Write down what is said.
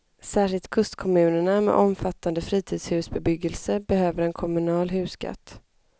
Särskilt kustkommunerna med omfattande fritidshusbebyggelse behöver en kommunal husskatt.